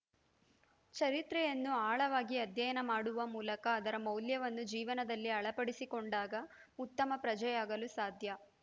ಚರಿತ್ರೆಯನ್ನು ಆಳವಾಗಿ ಅಧ್ಯಯನ ಮಾಡುವ ಮೂಲಕ ಅದರ ಮೌಲ್ಯಗಳನ್ನು ಜೀವನದಲ್ಲಿ ಅಳವಡಿಸಿಕೊಂಡಾಗ ಉತ್ತಮ ಪ್ರಜೆಗಳಾಗಲು ಸಾಧ್ಯ